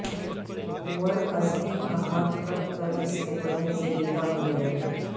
عمر ازدی کا ہاتھ کٹ کر اس کے بدن سے جدا ہوگیا